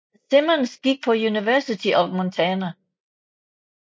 Simmons gik på University of Montana